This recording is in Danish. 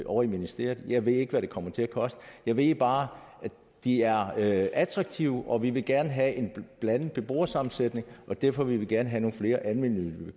ovre i ministeriet jeg ved ikke hvad det kommer til at koste jeg ved bare at de er attraktive og vi vil gerne have en blandet beboersammensætning og derfor vil vi gerne have nogle flere almennyttige